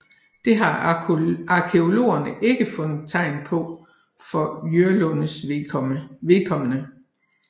Det har arkæologerne ikke fundet tegn på for Jørlundes vedkommende